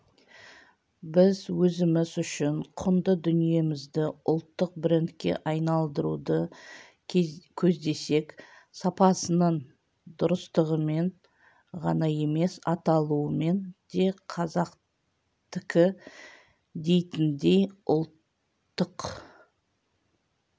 біз өзіміз үшін құнды дүниемізді ұлттық брендке айналдыруды көздесек сапасының дұрыстығымен ғана емес аталуымен де қазақтікі дейтіндей ұлттық